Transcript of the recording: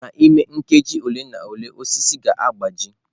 N'ime nkeji ole na ole, osisi ga-agbaji.